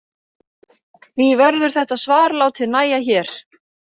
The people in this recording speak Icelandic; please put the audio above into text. Því verður þetta svar látið nægja hér.